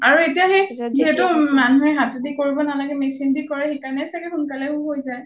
আৰু এতিয়া সেই যিহেতু মানুহে হাতেদি কৰিব নালাগে machine দি কৰে সেইকাৰণেয়ো চাগে সোনকালে হৈ যায়